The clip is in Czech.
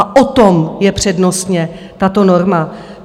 A o tom je přednostně tato norma.